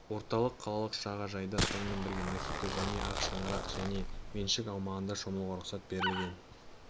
орталық қалалық жағажайда сонымен бірге махито және ақ шаңырақ жеке меншік аумағында шомылуға рұқсат берілген